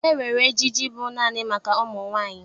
E nwere ejiji bụ naanị nke ụmụ nwaanyị.